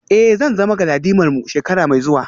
Eh zan zama galadimarmu shekara mai zuwa